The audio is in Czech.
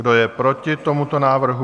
Kdo je proti tomuto návrhu?